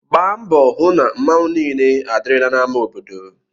Gbaa mbọ hụ na mmanwu niile adịrịla na ama obodo/